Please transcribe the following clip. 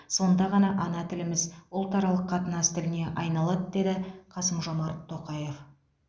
сонда ғана ана тіліміз ұлтаралық қатынас тіліне айналады деді қасым жомарт тоқаев